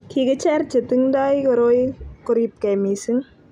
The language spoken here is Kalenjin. kikicher cher che tingdoi koroi koribgei mising